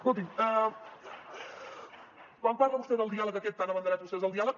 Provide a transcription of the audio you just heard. escolti’m quan parla vostè del diàleg aquest tan abanderat vostès del diàleg